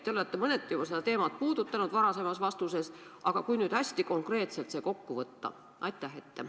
Te olete mõneti juba seda teemat puudutanud varasemas vastuses, aga kui nüüd hästi konkreetselt see kokku võtta?